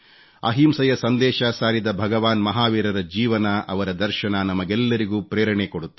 ಅಹಿಂಸೆಯ ಸಂದೇಶ ಸಾರಿದ ಭಗವಾನ್ ಮಹಾವೀರರ ಜೀವನ ಅವರ ದರ್ಶನ ನಮಗೆಲ್ಲರಿಗೂ ಪ್ರೇರಣೆ ಕೊಡುತ್ತದೆ